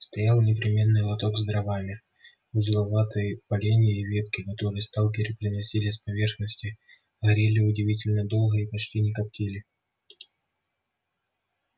стоял непременный лоток с дровами узловатые поленья и ветки которые сталкеры приносили с поверхности горели удивительно долго и почти не коптили